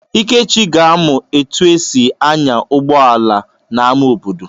Ikechi ga-amụ etu esi anya ụgbọala n'amá obodo.